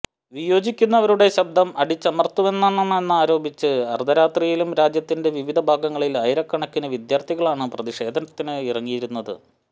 വിയോജിക്കുന്നവരുടെ ശബ്ദം അടിച്ചമര്ത്തുന്നുവെന്നാരോപിച്ച് അര്ധരാത്രിയിലും രാജ്യത്തിന്റെ വിവിധ ഭാഗങ്ങളില് ആയിരക്കണക്കിന് വിദ്യാര്ഥികളാണ് പ്രതിഷേധത്തിന് ഇറങ്ങിയിരുന്നത്